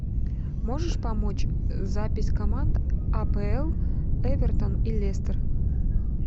можешь помочь запись команд апл эвертон и лестер